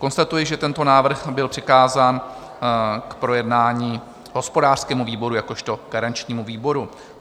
Konstatuji, že tento návrh byl přikázán k projednání hospodářskému výboru jakožto garančnímu výboru.